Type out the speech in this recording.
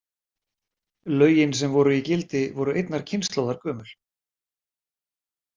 Lögin sem voru í gildi voru einnar kynslóðar gömul.